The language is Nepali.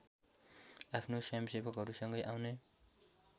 आफ्नो स्वयंसेवकहरूसँगै आउने